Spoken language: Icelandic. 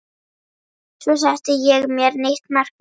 Svo setti ég mér nýtt markmið